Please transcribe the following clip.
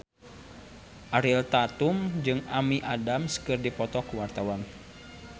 Ariel Tatum jeung Amy Adams keur dipoto ku wartawan